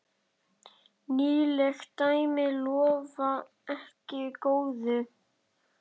Nýleg dæmi lofa ekki góðu.